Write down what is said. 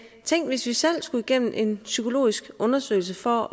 tænk hvis vi selv skulle igennem en psykologisk undersøgelse for